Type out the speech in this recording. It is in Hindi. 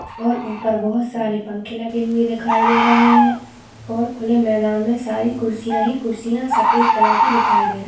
और ऊपर बहुत सारे पंखे लगे हुए दिखाई दे रहे है और खुले मैदान मे सारी कुर्सिया ही कुर्सिया सफ़ेद कलर की दिखाई दे रही--